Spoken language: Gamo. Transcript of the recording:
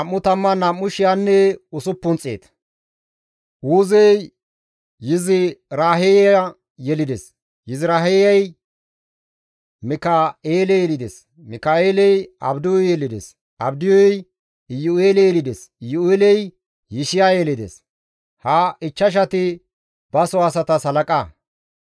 Uuzey Yiziraaheya yelides; Yiziraaheyay Mika7eele yelides; Mika7eeley Abdiyu yelides; Abdiyuy Iyu7eele yelides; Iyu7eeley Yishiya yelides; ha ichchashatikka baso asatas halaqa.